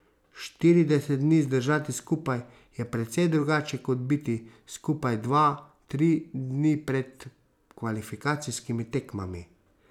Štirideset dni zdržati skupaj je precej drugače kot biti skupaj dva, tri dni pred kvalifikacijskimi tekmami.